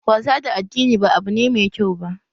Wasa da addini ba abu ne mai kyau ba